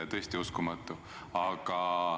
Tõesti uskumatu!